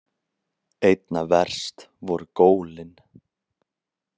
Einna verst voru gólin.